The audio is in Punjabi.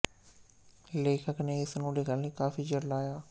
ਲੇਖਕ ਨੇ ਇਸ ਨੂੰ ਲਿਖਣ ਲਈ ਕਾਫ਼ੀ ਚਿਰ ਲਾਇਆ